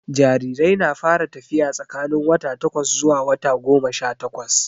Jarirai na fara tafiya tsakanin wata takwas zuwa wata goma sha takwas